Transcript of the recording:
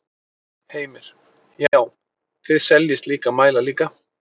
Heimir: Já, þið seljið slíka mæla líka?